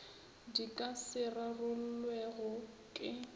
di ka se rarollwego ke